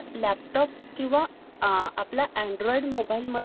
अं proper म्हणजे तीन एकर हे sir.